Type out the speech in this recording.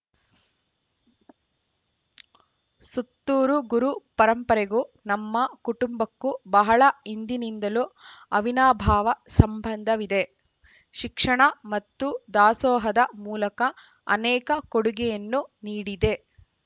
ಸುತ್ತೂರು ಗುರು ಪರಂಪರೆಗೂ ನಮ್ಮ ಕುಟುಂಬಕ್ಕೂ ಬಹಳ ಹಿಂದಿನಿಂದಲೂ ಅವಿನಾಭಾವ ಸಂಬಂಧವಿದೆ ಶಿಕ್ಷಣ ಮತ್ತು ದಾಸೋಹದ ಮೂಲಕ ಅನೇಕ ಕೊಡುಗೆಯನ್ನು ನೀಡಿದೆ